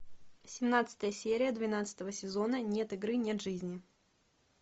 семнадцатая серия двенадцатого сезона нет игры нет жизни